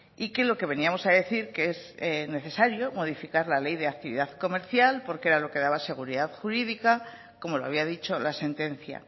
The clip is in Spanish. y que lo que veníamos a decir que es necesario modificar la ley de actividad comercial porque era lo que daba seguridad jurídica como lo había dicho la sentencia